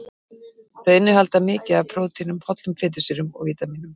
Þau innihalda mikið af prótínum, hollum fitusýrum og vítamínum.